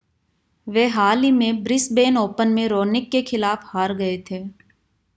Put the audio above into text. वे हाल ही में ब्रिस्बेन ओपन में रोनिक के खिलाफ हार गए थे